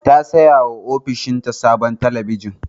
Ta sayawa ofishinta sabuwar talabijin.